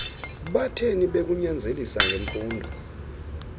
batheni bekunyanzelisa ngemfundo